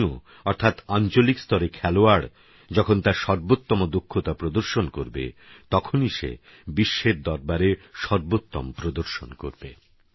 স্থানীয়অর্থাৎআঞ্চলিকস্তরেখেলোয়াড়যখনতারসর্বোত্তমদক্ষতাপ্রদর্শনকরবেতখনইসেবিশ্বেরদরবারেসর্বোত্তমপ্রদর্শনকরবে